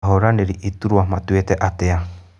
Ahũranĩri iturua matuĩte atĩa?